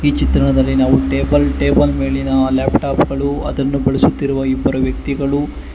ಈ ಚಿತ್ರಣದಲ್ಲಿ ನಾವು ಟೇಬಲ್ ಟೇಬಲ್ ಮೇಲಿನ ಆ ಲ್ಯಾಪ್ಟಾಪ್ ಗಳು ಅದನ್ನು ಬಳಸುತ್ತಿರುವ ಇಬ್ಬರು ವ್ಯಕ್ತಿಗಳು--